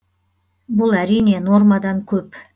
бұл әрине нормадан көп